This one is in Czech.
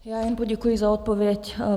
Já jen poděkuji za odpověď.